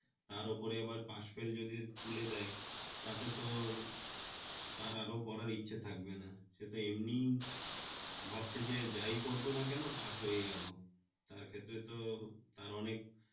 তারউপরে pass-fail যদি তুলে দেয় তাহলে তো তার আরও পড়াড় ইচ্ছে থাকবে না, সে তো এমনি ভাবছে যে যাই করো না কেন পাস হয়ে যাবো তার ক্ষেত্রে তো তার অনেক